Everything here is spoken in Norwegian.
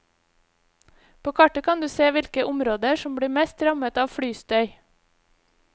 På kartet kan du se hvilke områder som blir mest rammet av flystøy.